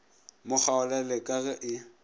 mo kgaolele ka ge e